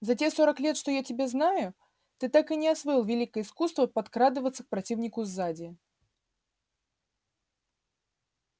за те сорок лет что я тебя знаю ты так и не освоил великое искусство подкрадываться к противнику сзади